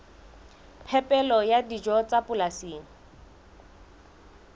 phepelo ya dijo tsa polasing